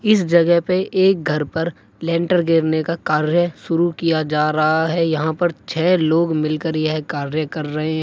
इस जगह पे एक घर पर लेंटर गिरने का कार्य शुरू किया जा रहा है यहां पर छः लोग मिलकर यह कार्य कर रहे हैं।